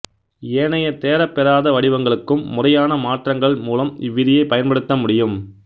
ஏனைய தேரப்பெறாத வடிவங்களுக்கும் முறையான மாற்றங்கள் மூலம் இவ்விதியைப் பயன்படுத்த முடியும்